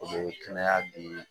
O bɛ kɛnɛya di